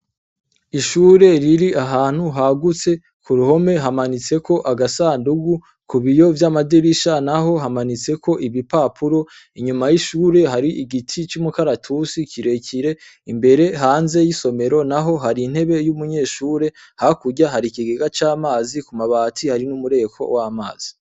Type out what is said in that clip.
Ishure riri ahantu hagutse; ku ruhome hamanitseko agasandugu, ku biyo vy'amadirisha naho hamanitseko ibipapuro, inyuma y'ishure hari igiti c'umukaratusi kirekire imbere hanze y'isomero naho hari intebe y'umunyeshure, hakurya hari ikigegea c'amazi ku mabati hari umureko w'amazi.